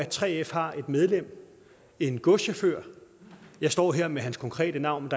3f har et medlem en godschauffør jeg står her med hans konkrete navn